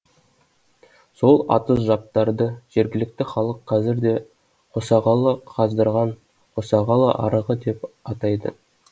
сол атыз жаптарды жергілікті халық қазір де қосағалы қаздырған қосағалы арығы деп атайды